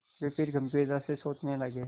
वे फिर गम्भीरता से सोचने लगे